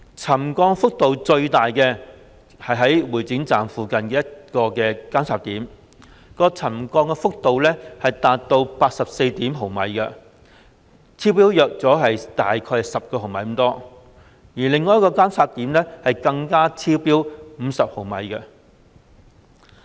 沉降幅度最大的是會展站附近的一個監測點，沉降幅度達 84.1 毫米，超標約10毫米，另一個監測點更超標50毫米。